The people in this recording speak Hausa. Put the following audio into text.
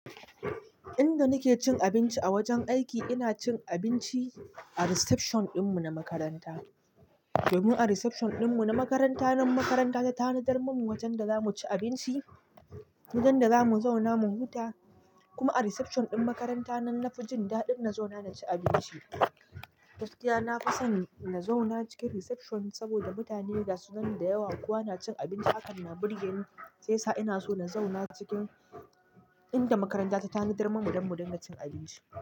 Inda nake cin abinci a wajen aiki, ina cin abinci a reception ɗinmu na makaranta. Domin a reception ɗinmu na makaranta nan makaranta ta tanadar mumu wajen da zamu ci abinci, wajen da zamu zauna mu huta. Kuma a reception ɗin makaranta nan na fi jin daɗin nazo na ci abinci. Gaskiya na fi son in zauna cikin reception saboda mutane gasu nan da yawa kuwa na cin abinci haka na burge ni sai sa ina so na zauna cikin inda makaranta ta tanadar mumu don mu dinga cin abinci.